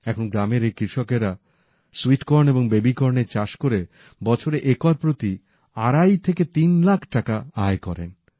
এখন গ্রামের এই কৃষকেরা সুইট কর্ন এবং বেবিকর্নের চাষ করে একর প্রতি আড়াই থেকে তিন লাখ টাকা বছরে আয় করেন